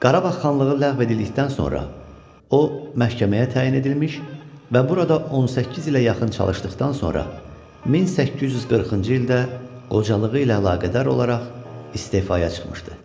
Qarabağ xanlığı ləğv edildikdən sonra o, məhkəməyə təyin edilmiş və burada 18 ilə yaxın çalışdıqdan sonra 1840-cı ildə qocalığı ilə əlaqədar olaraq istefaya çıxmışdı.